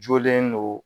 Jɔlen don